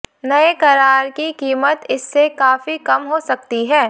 नए करार की कीमत इससे काफी कम हो सकती है